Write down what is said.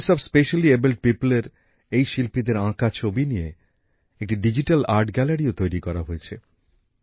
voice of specially abled পিওপলের এই শিল্পীদের আঁকা ছবি নিয়ে একটি ডিজিটাল আর্ট গ্যালারিও তৈরি করা হয়েছে